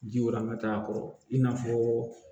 Ji warama t'a kɔ i n'a fɔɔ